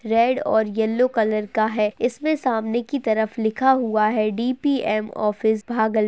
Red और yellow colour का है इसमें सामने की तरफ लिखा हुआ है डी.पी.एम. ऑफिस भागल --